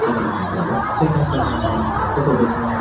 लेकिन हमको वक्त से क्या करना है हमको तो देखना है।